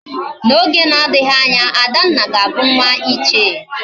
Na Oge na adighi Anya, Adanna ga Abu nwa ichie